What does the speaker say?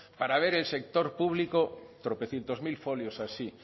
para ver el sector público tropecientos mil folios así